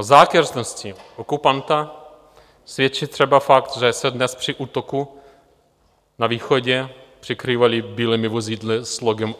O zákeřnosti okupanta svědčí třeba fakt, že se dnes při útoku na východě přikrývali bílými vozidly s logem